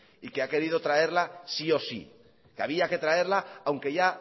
y que ha querido traerla sí o sí que había que traerla aunque ya